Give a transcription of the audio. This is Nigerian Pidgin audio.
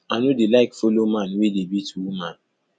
i no dey like follow man wey dey beat woman